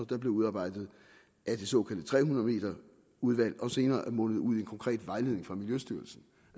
der blev udarbejdet af det såkaldte tre hundrede m udvalg og senere er mundet ud i en konkret vejledning fra miljøstyrelsen